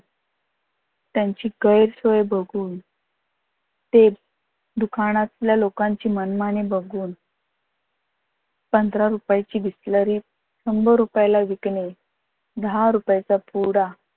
त्यांची गैरसोय बघून, ते दुकानातल्या लोकांची मनमानी बघून पंधरा रुपयाची बिसलरी शंभर रूपायला विकने दहा रुपयेचा पुडा